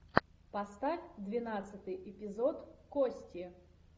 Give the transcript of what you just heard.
поставь двенадцатый эпизод кости